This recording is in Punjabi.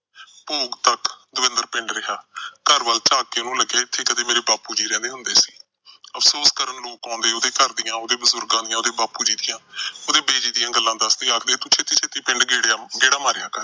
ਭੋਗ ਤੱਕ ਦਵਿੰਦਰ ਪਿੰਡ ਰਿਹਾ। ਘਰ ਵੱਲ ਝਾਕਦੇ ਉਹਨੂੰ ਲੱਗਿਆ ਕਦੇ ਮੇੇਰੇ ਬਾਪੂ ਜੀ ਇੱਥੇ ਰਹਿੰਦੇ ਸੀ। ਅਫਸੋਸ ਕਰਨ ਆਉਂਦੇ ਲੋਕ ਉਹਦੇ ਘਰ ਦੀਆਂ, ਉਹਦੇ ਬਜੁਰਗਾਂ ਦੀਆਂ, ਉਹਦੇ ਬਾਪੂ ਜੀ ਦੀਆਂ, ਉਹਦੀ ਬਿਜੀ ਦੀਆਂ ਗੱਲਾਂ ਦੱਸਦੇ, ਆਖਦੇ ਤੂੰ ਛੇਤੀ ਪਿੰਡ ਗੇੜਾ ਮਾਰਿਆ ਕਰ।